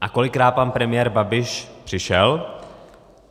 A kolikrát pan premiér Babiš přišel?